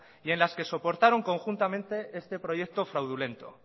y en las que soportaron conjuntamente este proyecto fraudulento